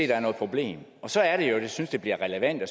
der er noget problem og så er det jo jeg synes det bliver relevant at